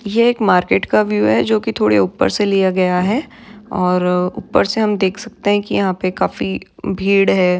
ये एक मार्केट का व्यू है जो कि थोड़े ऊपर से लिया गया है और ऊपर से हम देख सकते है कि यहाँ पे काफी भीड़ है।